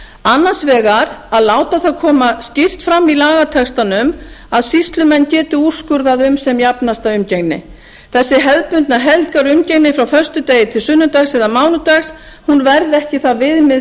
annars vegar að láta það koma skýrt fram í lagatextanum að sýslumenn geti úrskurðað um sem jafnasta umgengni þessi hefðbundin helgarumgengni frá föstudegi til sunnudags eða mánudags verði ekki það viðmið